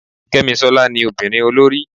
kemisola ní Ọmọbinrin olorí